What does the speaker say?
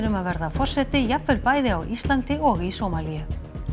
um að verða forseti jafnvel bæði á Íslandi og í Sómalíu